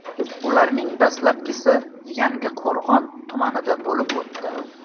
Ularning dastlabkisi Yangiqo‘rg‘on tumanida bo‘lib o‘tdi.